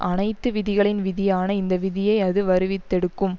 அனைத்து விதிகளின் விதியான இந்த விதியை அது வருவித்தெடுக்கும்